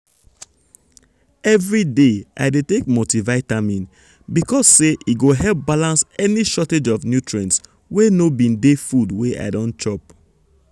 everyday i dey take multivitamin because say e go help balance any shortage of nutrients wey no bin dey food wey i don chop.